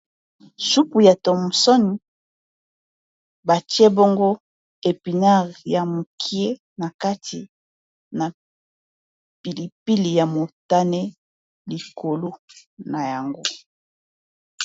Supu ya thomson batie bongo epinard ya mukie na kati na pilipili ya motane likolo na yango.